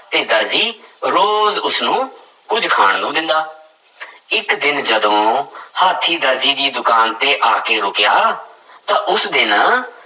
ਤੇ ਦਰਜੀ ਰੋਜ਼ ਉਸਨੂੰ ਕੁੱਝ ਖਾਣ ਨੂੰ ਦਿੰਦਾ ਇੱਕ ਦਿਨ ਜਦੋਂ ਹਾਥੀਂ ਦਰਜੀ ਦੀ ਦੁਕਾਨ ਤੇ ਆ ਕੇ ਰੁੱਕਿਆ ਤਾਂ ਉਸ ਦਿਨ